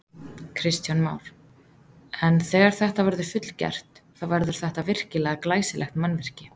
Kristján Már: En þegar þetta verður fullgert, þá verður þetta virkilega glæsilegt mannvirki?